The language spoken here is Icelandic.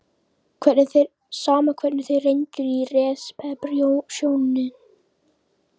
Sama hvernig þeir reyndu í resepsjóninni.